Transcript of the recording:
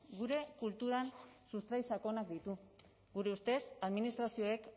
gure kulturan sustrai sakonak ditu gure ustez administrazioek